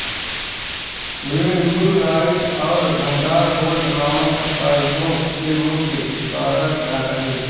वे New Light और Thunderbolt नामक साप्ताहिकों के मुख्य सम्पादक रहे